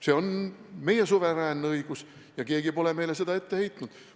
See on meie suveräänne õigus ja keegi pole meile seda ette heitnud.